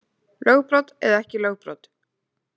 Lögbrot eða ekki lögbrot